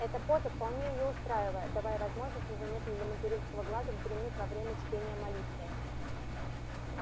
эта поза вполне её устраивает давая возможность незаметно для материнского глаза вздремнуть во время чтения молитвы